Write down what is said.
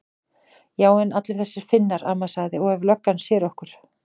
Já en allir þessir Finnar. amma sagði. og ef löggan sér okkur.